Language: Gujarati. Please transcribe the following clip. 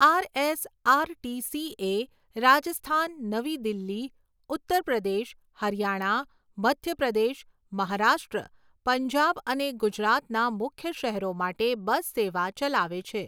આરએસઆરટીસી એ રાજસ્થાન, નવી દિલ્હી, ઉત્તર પ્રદેશ, હરિયાણા, મધ્ય પ્રદેશ, મહારાષ્ટ્ર, પંજાબ અને ગુજરાતના મુખ્ય શહેરો માટે બસ સેવા ચલાવે છે.